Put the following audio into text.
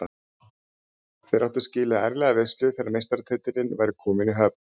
Þeir áttu skilið ærlega veislu þegar meistaratitillinn væri kominn í höfn.